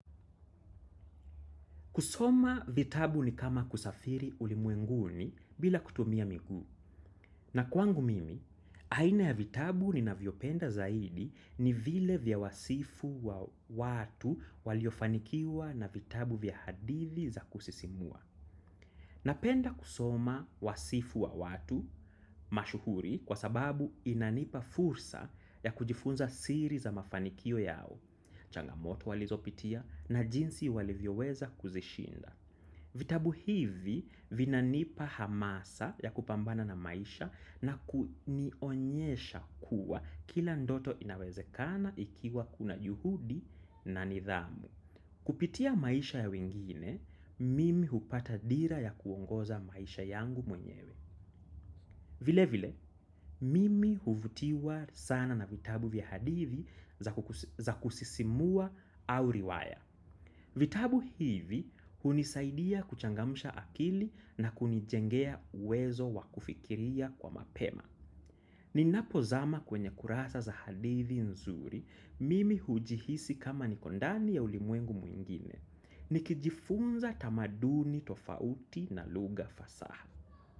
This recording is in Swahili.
Kusoma vitabu ni kama kusafiri ulimwenguni bila kutumia miguu. Na kwangu mimi, aina ya vitabu ninavyopenda zaidi ni vile vya wasifu wa watu waliofanikiwa na vitabu vya hadithi za kusisimua. Napenda kusoma wasifu wa watu mashuhuri kwasababu inanipa fursa ya kujifunza siri za mafanikio yao, changamoto walizopitia na jinsi walivyoweza kuzishinda. Vitabu hivi vinanipa hamasa ya kupambana na maisha na kunionyesha kuwa kila ndoto inawezekana ikiwa kuna juhudi na nidhamu. Kupitia maisha ya wengine, mimi hupata dira ya kuongoza maisha yangu mwenyewe. Vile vile, mimi huvutiwa sana na vitabu vya hadithi za kusisimua au riwaya. Vitabu hivi hunisaidia kuchangamsha akili na kunijengea uwezo wakufikiria kwa mapema. Ninapozama kwenye kurasa za hadithi nzuri, mimi hujihisi kama niko ndani ya ulimwengu mwingine. Nikijifunza tamaduni tofauti na lugha fasaha.